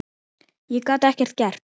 Ég gat ekkert gert.